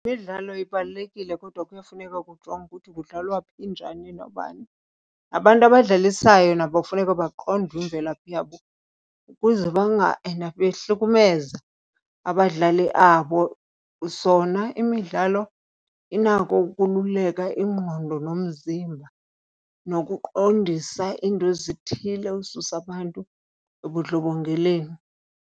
Imidlalo ibalulekile kodwa kuyafuneka kujongwe ukuthi kudlalwa phi njani nobani. Abantu abadlalisayo nabo kufuneka baqondwe imvelaphi yabo ukuze banga endaphi behlukumeza abadlali abo. Zona imidlalo inako ukululeka ingqondo nomzimba nokuqondisa iinto ezithile, ususa abantu ebundlobongeleni.